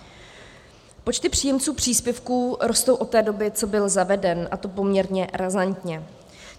Počty příjemců příspěvku rostou od té doby, co byl zaveden, a to poměrně razantně.